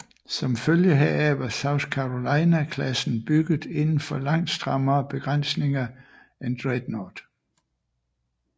Som følge heraf var South Carolina klassen bygget indenfor langt strammere begrænsninger end Dreadnought